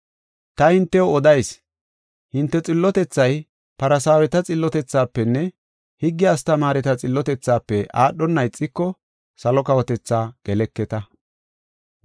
Ta hintew odayis; hinte xillotethay Farsaaweta xillotethaafenne higge astamaareta xillotethafe aadhona ixiko, salo kawotethaa geleketa.